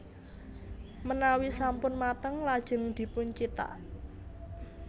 Menawi sampun mateng lajeng dipuncithak